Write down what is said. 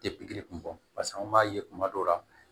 Tɛ pikiri kun bɔ pase an b'a ye kuma dɔ la